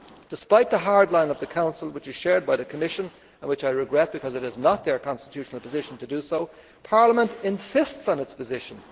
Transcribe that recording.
Despite the hard line of the Council, which is shared by the Commission something I regret because it is not its constitutional position to do so Parliament insists on its position.